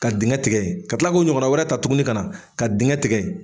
Ka dingɛ tigɛ ka tila k'o ɲɔgɔnna wɛrɛ ta tuguni ka na ka dingɛ tigɛ.